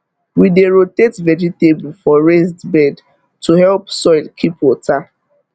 we dey rotate vegetable for raised bed to help soil keep water